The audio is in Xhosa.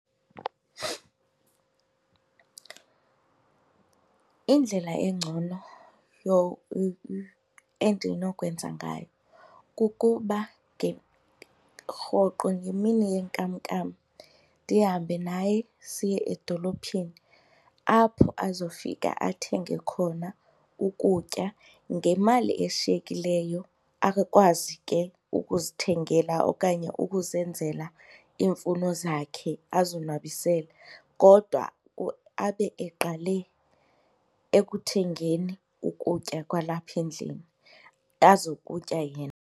Indlela engcono endinokwenza ngayo kukuba ke rhoqo ngemini yenkamnkam ndihambe naye siye edolophini apho azofika athenge khona ukutya, ngemali eshiyekileyo akwazi ke ukuzithengela okanye ukuzenzela iimfuno zakhe azonwabise kodwa abe eqale ekuthengeni ukutya kwalapha endlini azokutya yena.